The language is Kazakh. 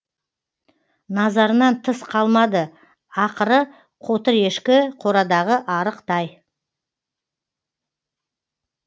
назарынан тыс қалмады ақыры қотыр ешкі қорадағы арық тай